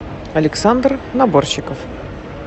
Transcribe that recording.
александр наборщиков